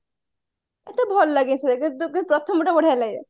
ମତେ ଭଲ ଲାଗେନି ସେଇଟା ଯୋଉକି ପ୍ରଥମଟା ବଢିଆ ଲାଗେ